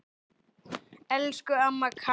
Elsku amma Kata.